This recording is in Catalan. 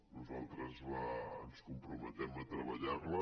nosaltres ens comprometem a treballar hi